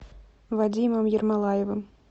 вадимом ермолаевым